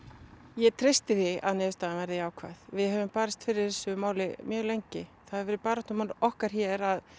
ég treysti því að niðurstaðan verði jákvæð við höfum barist fyrir þessu máli mjög lengi það hefur verið baráttumál okkar hér að